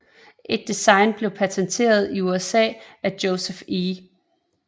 Et design blev panteteret i USA af Joseph E